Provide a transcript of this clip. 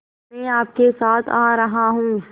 मैं आपके साथ आ रहा हूँ